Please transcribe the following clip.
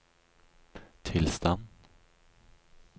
tilstand